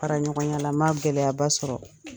Fara ɲɔgɔn ya la , n ma gɛlɛya ba sɔrɔ.